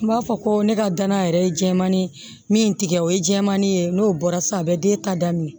N b'a fɔ ko ne ka danaya yɛrɛ ye jɛman ne ye min tigɛ o ye jɛmanin ye n'o bɔra sisan a bɛ den ta daminɛ